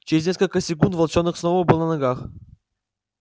через несколько секунд волчонок снова был на ногах